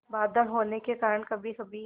बादल होने के कारण कभीकभी